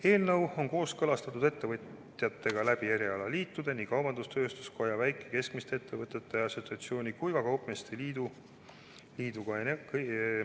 Eelnõu on kooskõlastatud ettevõtjatega erialaliitude kaudu, nii kaubandus-tööstuskoja, väike- ja keskmiste ettevõtjate assotsiatsiooni kui ka kaupmeeste liiduga.